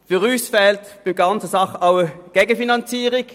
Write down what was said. Für uns fehlt bei der ganzen Angelegenheit die Gegenfinanzierung.